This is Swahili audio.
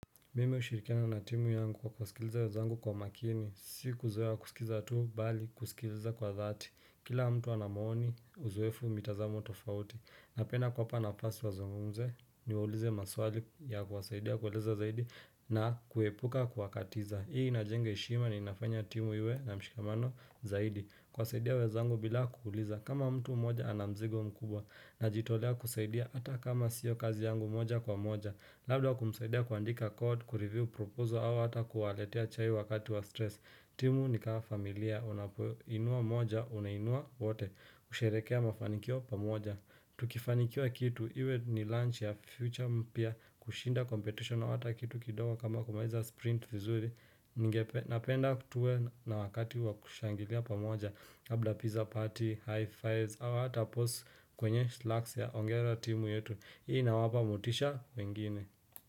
Mimi hushirikiana na timu yangu kwa kusikiliza wezangu kwa makini, si kuzoea kusikiza tu, bali kusikiliza kwa dhati. Kila mtu ana maoni, uzoefu, mitazamo tofauti. Napenda kuwapa nafasi wazungumze, niwaulize maswali ya kuwasaidia kueleza zaidi na kuepuka kuwakatiza. Hii inajenga heshima na inafanya timu iwe na mshikamano zaidi. Kuwasaidia wezangu bila kuuliza, kama mtu mmoja ana mzigo mkubwa, najitolea kusaidia ata kama siyo kazi yangu moja kwa moja. Labda kumsaidia kuandika code, kureview, proposal au hata kuwaletea chai wakati wa stress. Timu ni kaa familia, unapoinua moja, unainua wote, kusherekea mafanikio pa moja. Tukifanikiwa kitu, iwe ni launch ya future mpya, kushinda competition au hata kitu kidogo kama kumaliza sprint vizuri, ngepe, napenda kutue na wakati wa kushangilia pamoja, kabla pizza party, high fives, au hata pause kwenye slacks ya ongera timu yetu hii inawapa motisha wengine.